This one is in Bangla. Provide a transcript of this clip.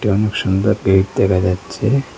অনেক সুন্দর গেট দেখা যাচ্ছে।